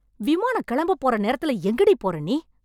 விமானம் கெளம்பப் போற நேரத்துல எங்கடி போறே நீ...